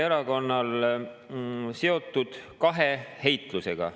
… seotud kahe heitlusega.